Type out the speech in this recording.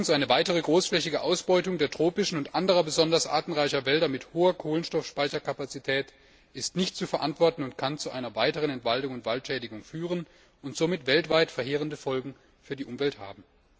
Eine weitere großflächige Ausbeutung der tropischen und anderer besonders artenreicher Wälder mit hoher Kohlenstoffspeicherkapazität ist nicht zu verantworten und kann zu einer weiteren Entwaldung und Waldschädigung führen und somit weltweit verheerende Folgen für die Umwelt haben.